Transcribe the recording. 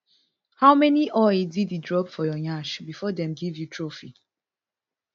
how many oil diddy drop for your nyash bifor dem give you trophy